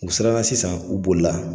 U siranna sisan, u bolila.